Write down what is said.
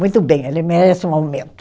Muito bem, ele merece um aumento.